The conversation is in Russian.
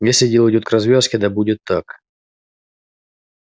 если дело идёт к развязке да будет так